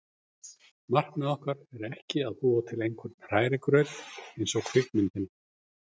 Markmið okkar er ekki að búa til einhvern hrærigraut eins og kvikmyndina